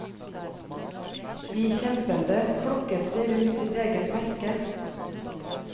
De kjempende flokket seg rundt sitt eget merke.